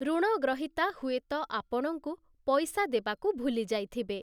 ଋଣଗ୍ରହୀତା ହୁଏତ ଆପଣଙ୍କୁ ପଇସା ଦେବାକୁ ଭୁଲି ଯାଇଥିବେ ।